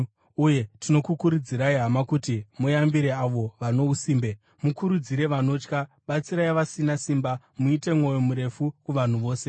Uye tinokukurudzirai, hama, kuti muyambire avo vano usimbe, mukurudzire vanotya, batsirai vasina simba, muite mwoyo murefu kuvanhu vose.